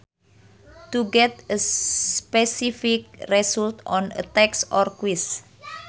To get a specific result on a text or quiz